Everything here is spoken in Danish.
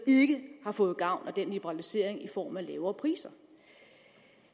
ikke har fået gavn af den liberalisering i form af lavere priser